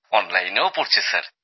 অনলাইনেও পড়ছে স্যার